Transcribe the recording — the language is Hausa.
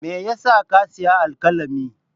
Me ya sa ka sayi alkalami?